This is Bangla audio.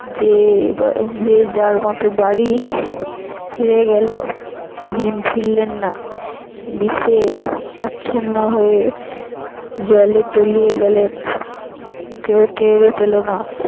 যে যার মত বাড়ি ভীম ফিরলেন না বিষে আচ্ছন্ন হয়ে জলে তলিয়ে গেলেন কেউ টেরও পেল না।